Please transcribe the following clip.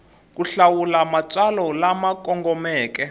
ku hlawula matsalwa lama kongomeke